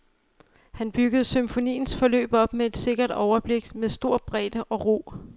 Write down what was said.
Han byggede symfoniens forløb op med sikkert overblik, med stor bredde og ro.